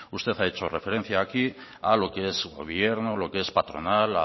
usted ha hecho referencia aquí a lo qué es gobierno a lo qué es patronal